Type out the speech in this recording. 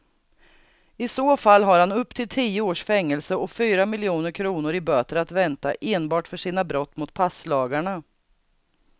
I så fall har han upp till tio års fängelse och fyra miljoner kronor i böter att vänta enbart för sina brott mot passlagarna.